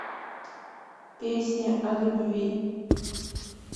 песни о любви